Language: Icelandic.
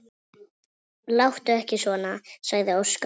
Láttu ekki svona, sagði Óskar.